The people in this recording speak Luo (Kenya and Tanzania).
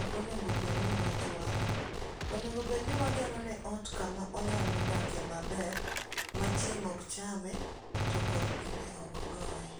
ok onego bed ni wajuang'e. Onego bed ni wagero ne ot kama onyalo dake maber ma chieng' okchame to koth bende ok goye.